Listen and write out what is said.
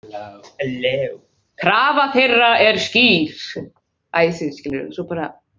Krafa þeirra er skýr.